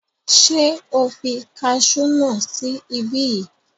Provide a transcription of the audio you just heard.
Ṣé o fi kasú náà sí ibí yìí?